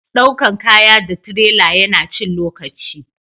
daukan kaya da tirela ya na cin lokaci